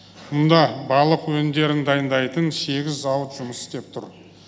мұнда балық өнімдерін дайындайтын сегіз зауыт жұмыс істеп тұр